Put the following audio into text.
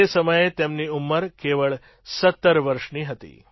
તે સમયે તેમની ઉંમર કેવળ ૧૭ વર્ષ હતી